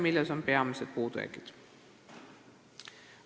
Milles on peamised puudujäägid?